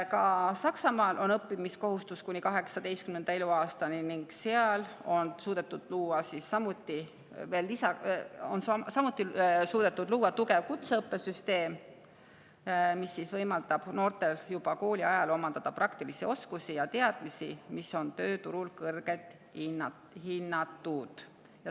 Ka Saksamaal on õppimiskohustus kuni 18. eluaastani ning seal on suudetud samuti luua tugev kutseõppesüsteem, mis võimaldab noortel juba kooliajal omandada praktilisi oskusi ja teadmisi, mis on tööturul kõrgelt hinnatud.